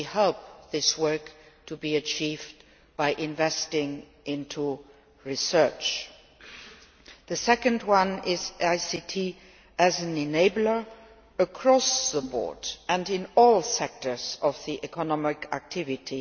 We hope this work will be achieved by investing in research. The second level is ICT as an enabler across the board and in all sectors of economic activity.